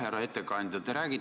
Härra ettekandja!